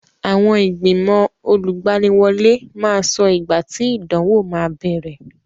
Àwọn ìgbìnmọ̀ olùgbaniwọlé máa sọ ìgbà tí ìdánwò máa bẹ̀rẹ̀.